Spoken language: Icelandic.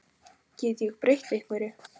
Get ég breytt einhverju?